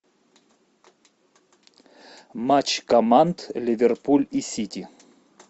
матч команд ливерпуль и сити